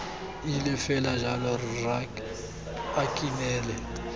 ile fela jalo rra nkinele